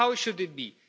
How should it